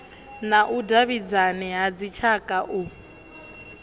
na vhudavhidzani ha dzitshaka u